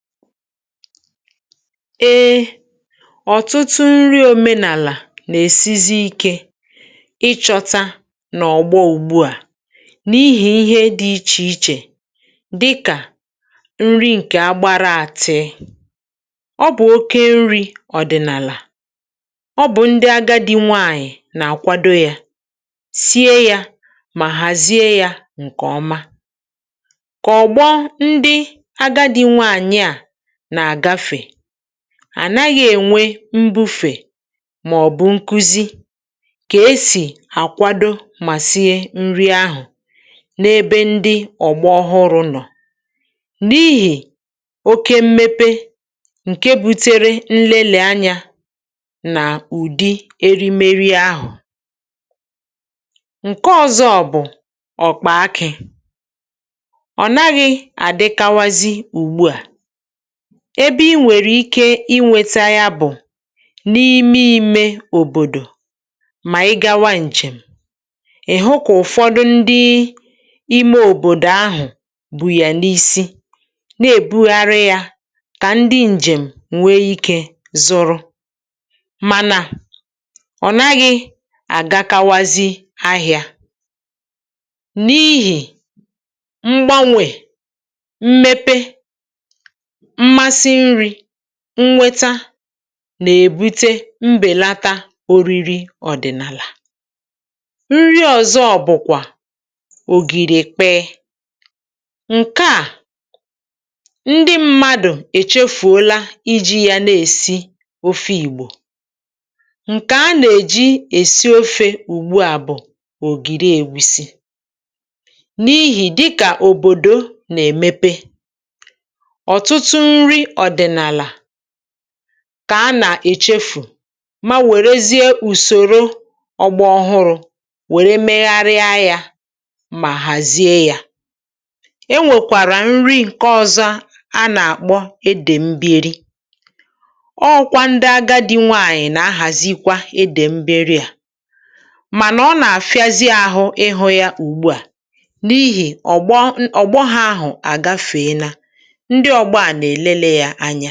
Eè, ọ̀tụtụ nri òmenàlà nà-èsizi ikė ịchọ̇tȧ nà ọ̀gbọ ùgbua, n’ihì ihe dị̇ ichè ichè dịkà nri ǹkè agbàraàtị̀. Ọ bụ̀ oke nri̇ ọ̀dị̀nàlà, ọ bụ̀ ndị agadi nwaànyị̀ nà-àkwado yȧ, sie yȧ, mà hàzie yȧ ǹkè ọma. Kà ọ̀gbọ ndị àgadi nwaànyị̀ a n'agafe, a naghị̇ ènwe mbu̇fè màọ̀bụ̀ nkuzi kà esì àkwado mà sie nri ahụ̀, n’ebe ndị ọ̀gbọ ọhụrụ̇ nọ̀, n’ihì oke mmepe ǹke butere nlele anya nà ụ̀dị erimeri ahụ̀. Nke ọ̇zọ̇ bụ̀ ọ̀kpà akị̇. Ọ naghị̇ àdịkawazị ugbu à, ebe i nwèrè ike inwėta yȧ bụ̀ n’ime imė òbòdò mà ị gawa ǹjèm, ị̀ hụ kà ụ̀fọdụ ndị ime òbòdò ahụ̀ bù yà n’isi na-èbugharị yȧ kà ndị ǹjèm nwee ikė zụrụ. Mànà ọ̀ naghị̇ àgakawazị ahịȧ n’ihì mgbanwè, mmepe, mmasị nri, nnweta nà-èbute mbèlata oriri ọ̀dị̀nàlà. Nri ọ̀zọ bụ̀kwà ògìrì ekpee, ǹke à ndị mmadụ̀ èchefùola iji̇ ya na-èsi ofe ìgbò. Nkè a nà-èji èsie ofė ùgbu à bụ̀ ògìri èwisi, n’ihì dịkà òbòdo nà-èmepe, ọtụtụ nri ọdịnala kà a nà-èchefù ma wèrezie ùsòro ọgbọ ọhụrụ̇ wère megharịa yȧ mà hàzie yȧ. E nwèkwàrà nri nke ọ̇zọ̇ a nà-àkpọ edèmber, ọ ọkwa ndị agadi nwaanyị̀ nà-ahàzikwa edèmberi à. Mànà ọ nà-àfịazị àhụ ịhụ̇ ya ùgbu à, n’ihì ọ̀gbọ, ọ̀gbọ ha ahụ̀ àgafee na, ndị ọgbọ a na eleli ya anya.